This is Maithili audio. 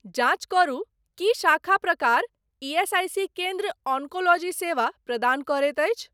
जाँच करू की शाखा प्रकार ईएसआईसी केन्द्र ऑन्कोलॉजी सेवा प्रदान करैत अछि?